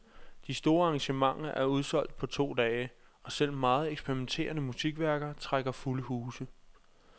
De store arrangementer er udsolgt på to dage, og selv meget eksperimenterende musikværker trækker fulde huse.